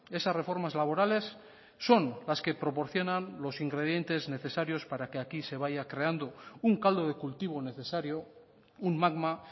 esas reformas laborales son las que proporcionan los ingredientes necesarios para que aquí se vaya creando un caldo de cultivo necesario un magma